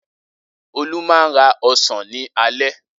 Olú máa ń ra ọsàn ní alẹ́.